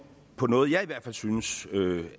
på noget jeg i hvert fald synes